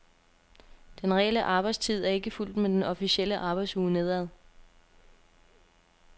Den reelle arbejdstid er ikke fulgt med den officielle arbejdsuge nedad.